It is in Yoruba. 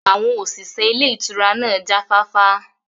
Àwọn òṣìṣẹ́ ilé ìtura náà jáfáfá